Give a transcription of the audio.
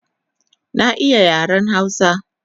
Na iya yaren hausa